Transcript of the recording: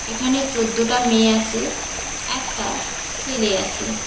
এখানে চোদ্দোটা মেয়ে আসে একটা ছেলে আসে।